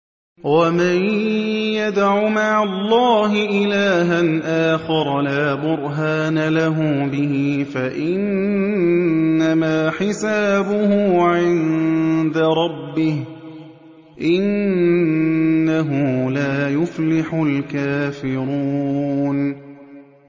وَمَن يَدْعُ مَعَ اللَّهِ إِلَٰهًا آخَرَ لَا بُرْهَانَ لَهُ بِهِ فَإِنَّمَا حِسَابُهُ عِندَ رَبِّهِ ۚ إِنَّهُ لَا يُفْلِحُ الْكَافِرُونَ